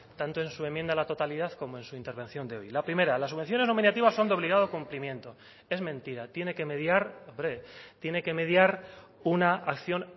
tanto en su enmienda a la totalidad como en su intervención de hoy la primera las subvenciones nominativas son de obligado cumplimiento es mentira tiene que mediar hombre tiene que mediar una acción